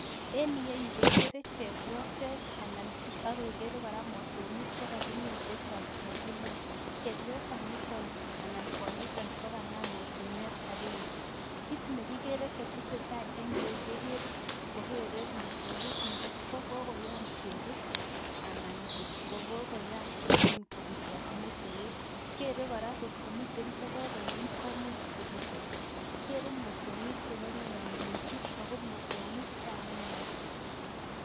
En iyeyu kekere chebioset anan okekere kora mosongik chekakimin chechang en mbar, chebiosaniton anan kwonyiton ko kanam mosongiot akenge, kiit nekikere koteseta en ireyu kekere kokere mosongik ngo kokoyam kebut anan ngot ko kokoyam kobutot metoek, kere kora kot komiten chekokoyam komuch kobutot, kikere mosongik chekororon mising ak ko mosongik chalelach.